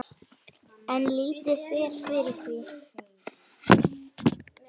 En lítið fer fyrir því.